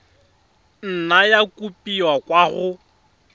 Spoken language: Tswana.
nna ya kopiwa kwa go